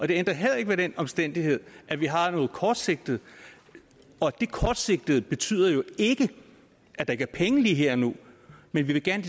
det ændrer heller ikke ved den omstændighed at vi har noget kortsigtet og det kortsigtede betyder ikke at der ikke er penge lige her og nu men vi ville gerne